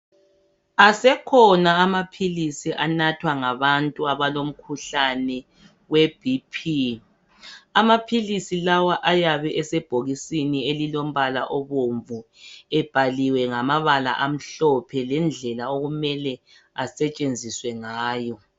Asekhona amaphilisi anathwa ngabantu abalomkhuhlane weBP. Amaphilisi lawa ayabe esebhokisini elilompala obomvu ebhaliwe ngamabala amhlophe lendlela okumelwe asetshenziswe ngayo.